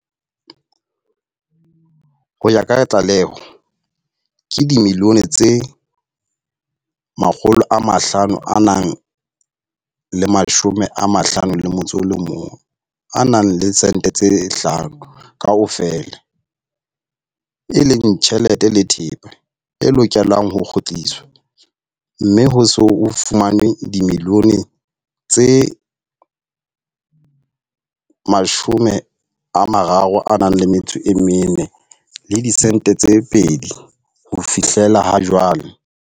Ho ya ka tlaleho, ke dimiliyone tse makholo a mahlano a metso e mehlano, kaofela e leng tjhelete le thepa e lokelang ho kgutliswa, mme ho se ho fumanwe dimiliyone tse mashome a mararo a metso mene ho fihlela jwale.